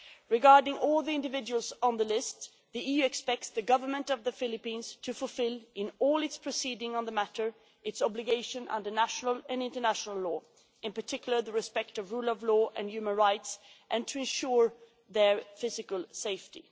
Regarding all the individuals on the list, the EU expects the Government of the Philippines to fulfil, in all its proceedings on the matter, its obligation under national and international law, in particular, the respect of the rule of law and human rights, and to ensure their physical safety.